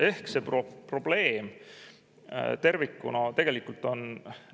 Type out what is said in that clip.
Ehk see probleem tervikuna tegelikult on see.